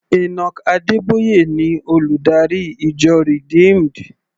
Enoch Adeboye ni olùdarí ìjọ Redeemed.